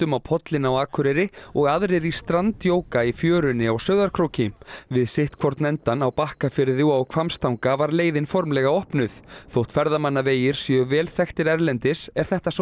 á pollinn á Akureyri og aðrir í strandjóga í fjörunni á Sauðárkróki við sitt hvorn endann á Bakkafirði og á Hvammstanga var leiðin formlega opnuð þótt ferðamannavegir séu vel þekktir erlendis er þetta sá